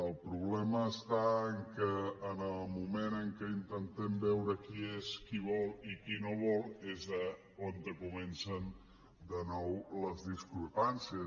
el problema és que en el moment que intentem veure qui és qui vol i qui no vol és on comencen de nou les discrepàncies